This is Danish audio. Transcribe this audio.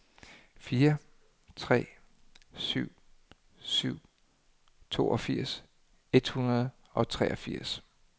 fire tre syv syv toogfirs et hundrede og treogfirs